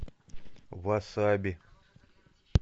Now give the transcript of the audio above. васаби